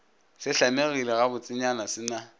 se hlamegile gabotsenyana se na